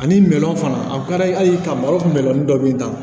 Ani mɛru fana ade ye hali ka malo kun bɛlɔni dɔ min na